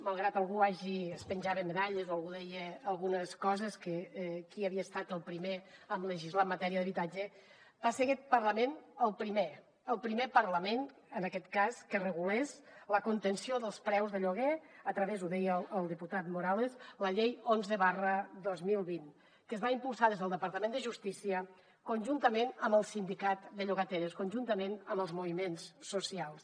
malgrat que algú es penjava medalles o algú deia algunes coses que qui havia estat el primer en legislar en matèria d’habitatge va ser aquest parlament el primer el primer parlament en aquest cas que regulés la contenció dels preus de lloguer a través ho deia el diputat morales de la llei onze dos mil vint que es va impulsar des del departament de justícia conjuntament amb el sindicat de llogateres conjuntament amb els moviments socials